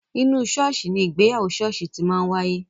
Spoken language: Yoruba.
Inú ṣọ́ọ̀ṣì ni ìgbéyàwó ṣọ́ọ̀ṣì ti máa ń wáyé.